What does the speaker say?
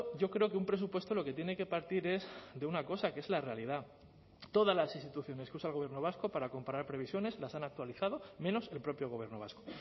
yo creo que un presupuesto lo que tiene que partir es de una cosa que es la realidad todas las instituciones que usa el gobierno vasco para comparar previsiones las han actualizado menos el propio gobierno vasco